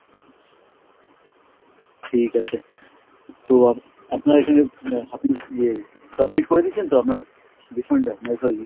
ঠিক আছে, তো আপ~ আপনার এখানে মানে ইয়ে submit করে দিয়েছেন তো আপনার refund টা, মানে sorry,